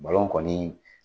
kɔni